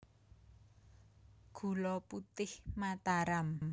Gula Putih Mataram